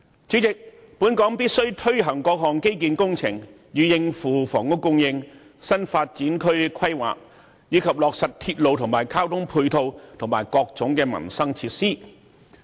主席，本港必須推行各項基建工程，以應付房屋供應、新發展區規劃，以及落實鐵路、交通配套及各種民生設施。